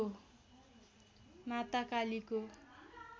माता कालीको